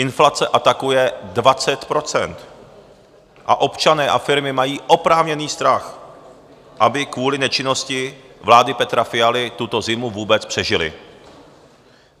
Inflace atakuje 20 % a občané a firmy mají oprávněný strach, aby kvůli nečinnosti vlády Petra Fialy tuto zimu vůbec přežili.